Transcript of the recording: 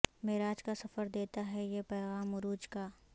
معراج کا سفر دیتا ہے یہ پیغام عروج کا